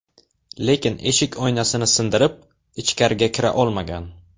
Lekin eshik oynasini sindirib, ichkariga kira olmagan.